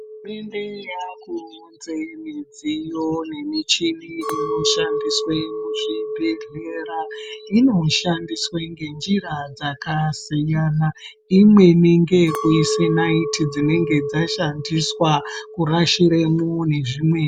Hurumende yakuunze midziyo nemichini inoshandiswe muzvibhedhlera inoshandiswe ngenjira dzakasiyana imweni ngeyekuise naiti dzinenge dzashandiswa kurashiremwo nezvimweni.